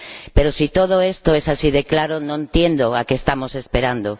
Pero si todo esto es así de claro, no entiendo a qué estamos esperando.